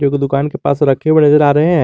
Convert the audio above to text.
जो कि दुकान के पास रखे हुए नजर आ रहे हैं।